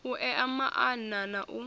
u ea maana na u